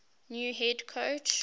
new head coach